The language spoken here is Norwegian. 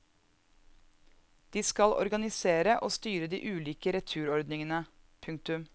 De skal organisere og styre de ulike returordningene. punktum